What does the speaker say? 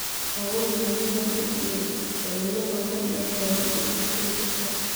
Roobab mahiigaan ah iyo dabaylo xooggan ayaa baabi’iyay hantidii dadka.